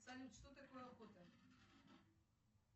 салют что такое охота